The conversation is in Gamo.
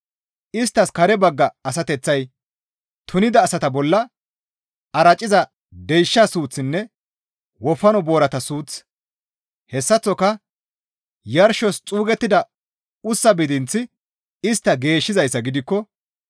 Isttas kare bagga asateththay tunida asata bolla araciza deysha suuththinne wofano boorata suuththi hessaththoka yarshos xuugettida ussaa bidinththi istta geeshshizayssa gidikko,